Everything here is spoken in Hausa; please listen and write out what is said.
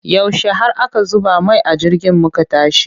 Yaushe har aka zuba mai a jirgin muka tashi?